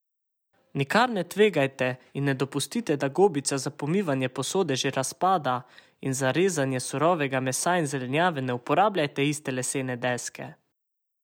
Nikar ne tvegajte in ne dopustite, da gobica za pomivanje posode že razpada, in za rezanje surovega mesa in zelenjave ne uporabljajte iste lesene deske!